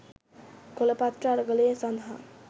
කොළපත්‍ර අරගලය සදහා